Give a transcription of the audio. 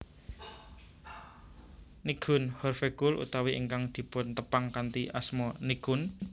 Nichkhun Horvejkul utawi ingkang dipuntepang kanthi asma Nichkhun